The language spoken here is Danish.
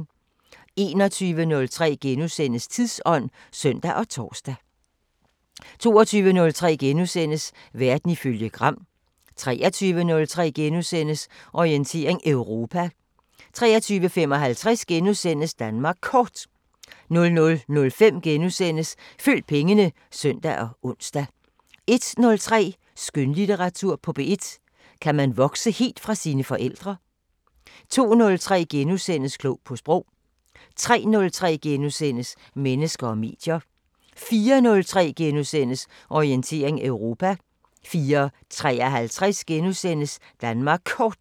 21:03: Tidsånd *(søn og tor) 22:03: Verden ifølge Gram * 23:03: Orientering Europa * 23:55: Danmark Kort * 00:05: Følg pengene *(søn og ons) 01:03: Skønlitteratur på P1: Kan man vokse helt fra sine forældre? 02:03: Klog på Sprog * 03:03: Mennesker og medier * 04:03: Orientering Europa * 04:53: Danmark Kort *